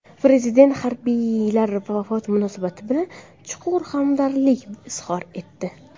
Prezident harbiylar vafoti munosabati bilan chuqur hamdardlik izhor etdi.